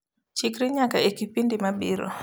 chikri nyaka e kipindi mabiro